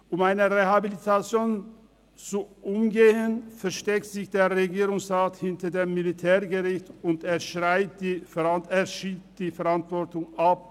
Um eine Rehabilitation zu umgehen, versteckt sich der Regierungsrat hinter dem Militärgericht, und er schiebt die Verantwortung ab;